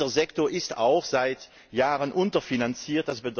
Dieser Sektor ist auch seit Jahren unterfinanziert.